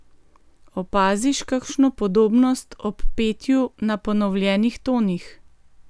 Opaziš kakšno podobnost ob petju na ponovljenih tonih?